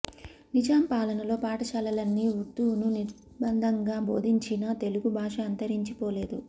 నిజాం పాలనలో పాఠశాలలన్నీ ఉర్దూను నిర్బంధంగా బోధించినా తెలుగు భాష అంతరించి పోలేదు